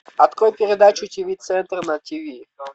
открой передачу тв центр на тв